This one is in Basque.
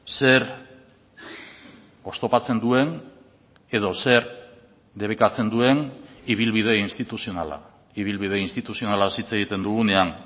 zer oztopatzen duen edo zer debekatzen duen ibilbide instituzionala ibilbide instituzionalaz hitz egiten dugunean